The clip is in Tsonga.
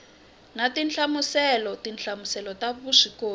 na tinhlamuselo tinhlamuselo ta vuswikoti